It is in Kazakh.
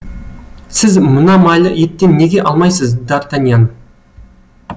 сіз мына майлы еттен неге алмайсыз д артаньян